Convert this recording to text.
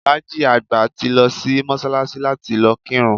Alhaji àgbà ti lo sí Mósálasí láti lo kírun